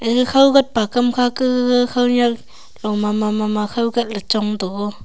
ga khawgat pakam khake gaga khaonyak lo mama mama khaw gat ley chong toh o.